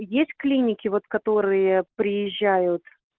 есть клиники вот которые приезжают